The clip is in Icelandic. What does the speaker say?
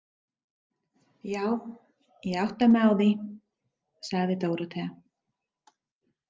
Já, ég átta mig á því, sagði Dórótea.